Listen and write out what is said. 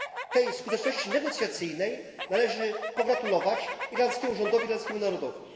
Tej skuteczności negocjacyjnej należy pogratulować irlandzkiemu rządowi i irlandzkiemu narodowi.